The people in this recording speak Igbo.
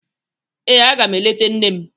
Ee, aga m eleta nne m.